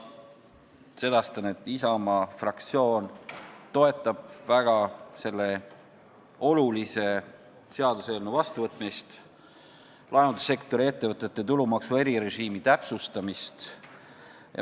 Sedastan, et Isamaa fraktsioon toetab väga selle olulise seaduseelnõu vastuvõtmist, laevandussektori ettevõtete tulumaksu erirežiimi täpsustamist.